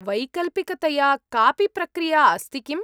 वैकल्पिकतया कापि प्रक्रिया अस्ति किम्‌?